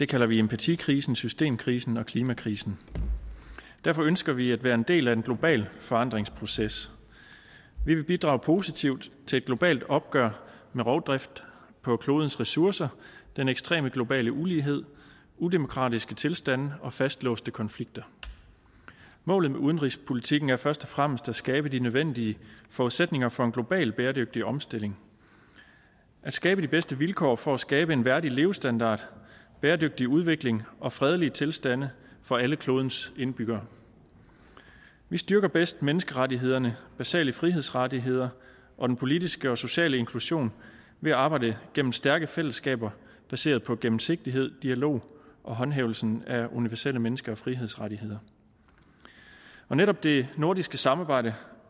kalder vi empatikrisen systemkrisen og klimakrisen derfor ønsker vi at være en del af en global forandringsproces vi vil bidrage positivt til et globalt opgør med rovdrift på klodens ressourcer den ekstreme globale ulighed udemokratiske tilstande og fastlåste konflikter målet med udenrigspolitikken er først og fremmest at skabe de nødvendige forudsætninger for en global bæredygtig omstilling at skabe de bedste vilkår for at skabe en værdig levestandard bæredygtig udvikling og fredelige tilstande for alle klodens indbyggere vi styrker bedst menneskerettighederne basale frihedsrettigheder og den politiske og sociale inklusion ved at arbejde gennem stærke fællesskaber baseret på gennemsigtighed dialog og håndhævelsen af universelle menneske og frihedsrettigheder netop det nordiske samarbejde